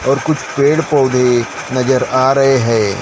और कुछ पेड़ पौधे नजर आ रहे है।